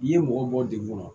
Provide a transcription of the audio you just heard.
I ye mɔgɔ bɔ dekun kɔnɔ